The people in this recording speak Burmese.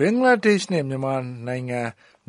ဘင်္ဂလားဒေ့ရှ်နဲ့ မြန်မာနှစ်နိုင်ငံ